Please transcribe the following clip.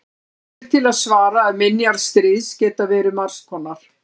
því er til að svara að minjar stríðs geta verið margs konar